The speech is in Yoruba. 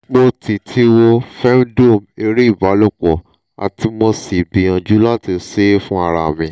mo ti ti wo femdome ere ibalopo ati mo si gbiyanju lati se e fun ara mi